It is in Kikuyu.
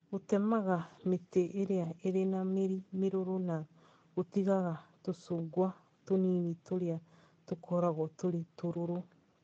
Gũtemaga mĩtĩ ĩrĩa ĩrĩ na mĩri mĩrũrũ na gũtigaga tũcungwa tũnini tũrĩa tũkoragwo tũrĩ tũrũrũ